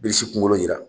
Bilisi kunkolo yira